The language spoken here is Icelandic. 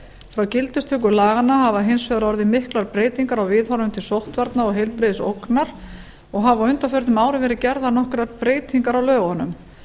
frá gildistöku laganna hafa hins vegar orðið miklar breytingar á viðhorfum til sóttvarna og heilbrigðisógnar og hafa á undanförnum árum verið gerðar nokkrar breytingar á lögunum